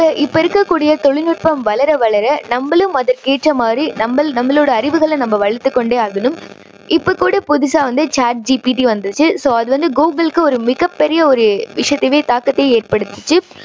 இப்போ இருக்கக்கூடிய தொழில்நுட்பம் வளர வளர நம்பளும் அதற்கு ஏற்ற மாதிரி நம்ப~நம்பளோட அறிவுகளை நம்ப வளர்த்துக்கொண்டே ஆகணும். இப்போ கூட புதுசா வந்து chat GPT வந்துச்சு. அது google க்கு ஒரு மிகப் பெரிய ஒரு விஷயத்தையவே தாக்கத்தை ஏற்படுத்திச்சு.